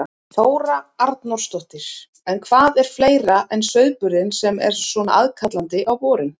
Þóra Arnórsdóttir: En hvað er fleira en sauðburðurinn sem er svona aðkallandi á vorin?